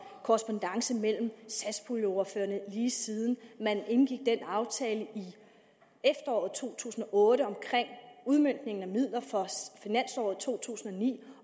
korrespondance mellem satspuljeordførerne lige siden de indgik den aftale i efteråret to tusind og otte om en udmøntning af midler for finansåret to tusind og ni